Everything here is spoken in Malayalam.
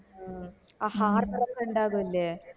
ഹ് ആ harbor ഒക്ക ഇണ്ടാകുല്ലേ